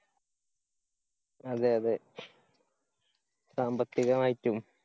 അതെ അതെ സാമ്പത്തികമായിട്ടും.